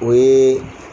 O ye